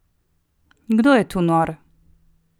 Kdo je tu nor?